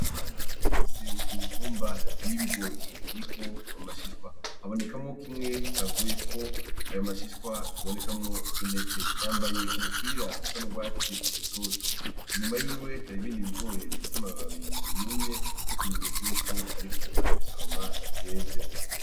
Habimana afise imitumba y'ibigori iriko amashishwa habonekamwo kimwe cavuyeko ayo mashishwa kibonekamwo intete yambaye umupira usa n'ugwatsi rutoto inyuma yiwe hari ibindi bigori bifise amababi yumye nk'ikimenyetso yuko ariko arabisoroma vyeze.